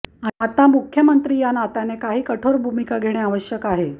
आता मुख्यमंत्री या नात्याने काही कठोर भूमिका घेणे आवश्यक आहे